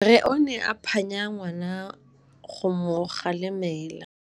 Rre o ne a phanya ngwana go mo galemela.